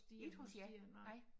Ikke hos jer? Nej